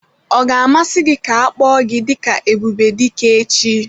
Ọ ga-amasị gị ka a kpọọ gị dị ka Ebubedike echi?